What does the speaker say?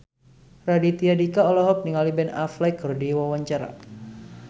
Raditya Dika olohok ningali Ben Affleck keur diwawancara